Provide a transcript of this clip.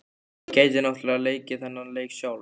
Ég gæti náttúrlega leikið þann leik sjálf.